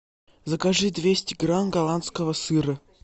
закажи двести грамм голландского сыра